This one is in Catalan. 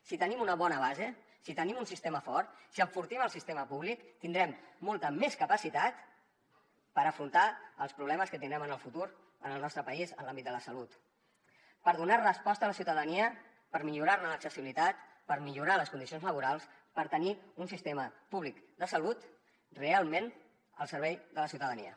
si tenim una bona base si tenim un sistema fort si enfortim el sistema públic tindrem molta més capacitat per afrontar els problemes que tindrem en el futur en el nostre país en l’àmbit de la salut per donar resposta a la ciutadania per millorar ne l’accessibilitat per millorar les condicions laborals per tenir un sistema públic de salut realment al servei de la ciutadania